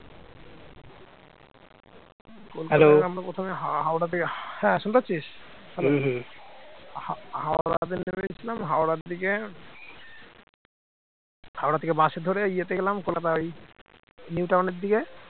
হাওড়া থেকে বাস ধরে ইয়েতে গেলাম কলকাতার ওই নিউটাউনের দিকে